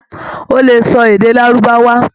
Ó le sọ èdè Lárúbáwá.